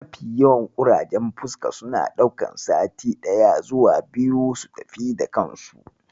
Mafi yawancin ƙurajen fuska suna ɗaukan sati ɗaya zuwa biyu su tafi da kansu.